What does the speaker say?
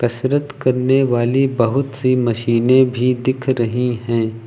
कसरत करने वाली बहुत सी मशीनें भी दिख रही हैं।